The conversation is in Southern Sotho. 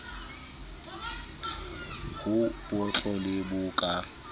bo botlo le bo ka